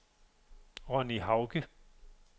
Ronni Hauge